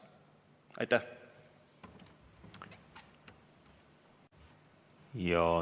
Aitäh!